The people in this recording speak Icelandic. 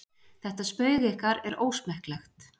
Þetta spaug ykkar er ósmekklegt.